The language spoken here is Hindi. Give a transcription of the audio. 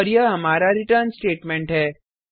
और यह हमारा रिटर्न स्टेटमेंट है